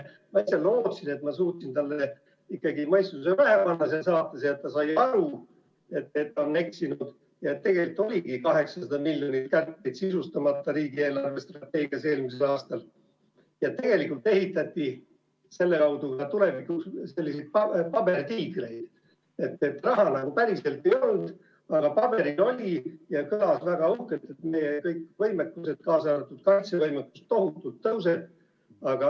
Ma lootsin, et ma suutsin seal saates talle ikkagi mõistuse pähe panna ja et ta sai aru, et ta on eksinud ja et tegelikult oligi 800 miljonit kärpeid eelmisel aastal riigi eelarvestrateegias sisustamata ja tegelikult ehitati selle kaudu ka tulevikuks selliseid pabertiigreid, et raha nagu päriselt ei olnud, aga paberil oli ja kõlas väga uhkelt, et meie kõik võimekused tohutult tõusevad, kaasa arvatud kaitsevõimekus.